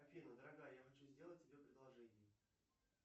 афина дорогая я хочу сделать тебе предложение